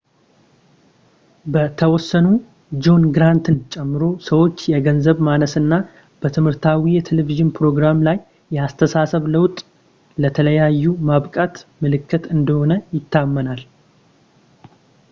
በተወሰኑ ጆን ግራንትን ጨምሮ ሰዎች የገንዘብ ማነስ እና በትምህርታዊ የቴሌቪዥን ፕሮራም ላይ የአስተሳሰብ ለውጥ ለተከታታዩ ማብቃት ምልክት እንደሆነ ይታመናል